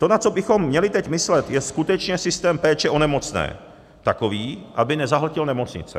To, na co bychom měli teď myslet, je skutečně systém péče o nemocné, takový, aby nezahltil nemocnice.